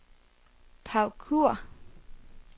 Paw Kure